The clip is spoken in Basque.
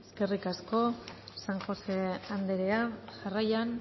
eskerrik asko san josé andrea jarraian